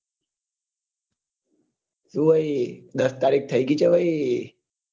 શું ભાઈ દસ તારીખ થઇ ગઈ છે ભાઈ